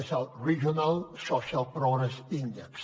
és el regional social progress index